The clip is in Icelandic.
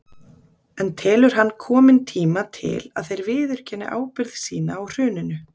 En telur hann kominn tíma til að þeir viðurkenni ábyrgð sína á hruninu?